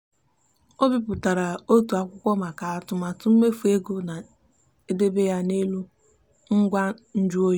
o bipụtara otu akwụkwọ maka atụmatụ mmefu ego ma debe ya n'elu ngwa njụ oyi.